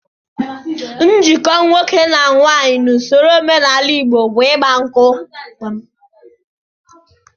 Njikọ nwoke na nwaanyị n'ụsọro omenala Igbo bụ ịgba nkwụ